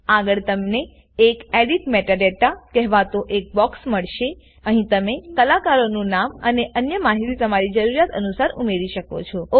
આગળ તમને એક એડિટ Metadataકહેવાતો એક બોક્સ મળશેઅહી તમે કલાકારો નું નામ અને અન્ય માહિતી તમારી જરૂરિયાત અનુસાર ઉમેરી શકો છો